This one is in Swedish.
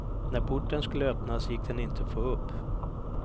När porten skulle öppnas gick den inte att få upp.